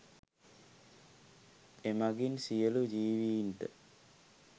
එමගින් සියලු ජීවීන්ට